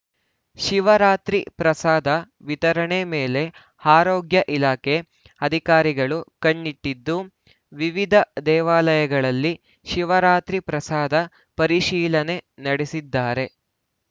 ಶಿವರಾತ್ರಿ ಪ್ರಸಾದ ವಿತರಣೆ ಮೇಲೆ ಆರೋಗ್ಯ ಇಲಾಖೆ ಅಧಿಕಾರಿಗಳು ಕಣ್ಣಿಟ್ಟಿದ್ದು ವಿವಿಧ ದೇವಾಲಯಗಳಲ್ಲಿ ಶಿವರಾತ್ರಿ ಪ್ರಸಾದ ಪರಿಶೀಲನೆ ನಡೆಸಿದ್ದಾರೆ